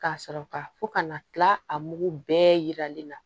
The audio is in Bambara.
Ka sɔrɔ ka fɔ ka na kila a mugu bɛɛ yiralen na